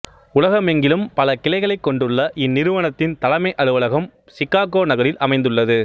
உலகமெங்கிலும் பல கிளைகளை கொண்டுள்ள இந்நிறுவனத்தின் தலைமை அலுவலகம் சிகாகோ நகரில் அமைந்துள்ளது